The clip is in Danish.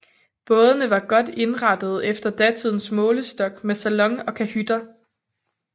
Bådene var godt indrettede efter datidens målestok med salon og Kahytter